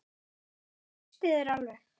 Ég treysti þér alveg.